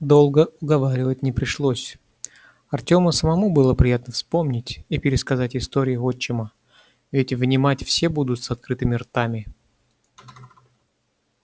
долго уговаривать не пришлось артёму самому было приятно вспомнить и пересказать истории отчима ведь внимать все будут с открытыми ртами